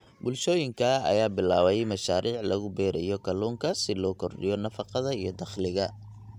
Bulshooyinka ayaa bilaabay mashaariic lagu beerayo kalluunka si loo kordhiyo nafaqada iyo dakhliga.